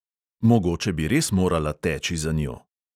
Mogoče bi res morala teči za njo.